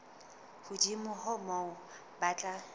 hodimo ho moo ba tla